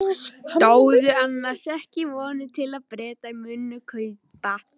Stóðu annars ekki vonir til að Bretar mundu kaupa?